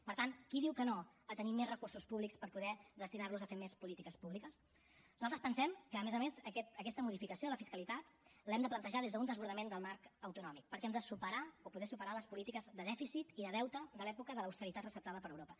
per tant qui diu que no a tenir més recursos públics per poder destinar los a fer més polítiques públiques nosaltres pensem que a més a més aquesta modificació de la fiscalitat l’hem de plantejar des d’un desbordament del marc autonòmic perquè hem de superar o poder superar les polítiques de dèficit i de deute de l’època de l’austeritat receptada per europa